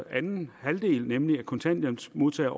kontanthjælpsmodtagere